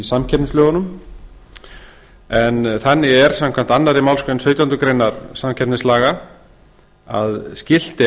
samkeppnislögunum en þannig er samkvæmt annarri málsgrein sautjándu grein samkeppnislaga að skylt